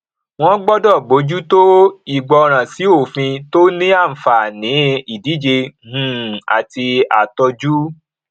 wọn gbọdọ bójú tó ìgbọràn sí òfin tí ó ní àǹfààní ìdíje um àti àtọjú